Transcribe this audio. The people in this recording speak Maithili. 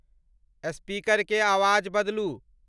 स्पीकर के आवाज बदलू।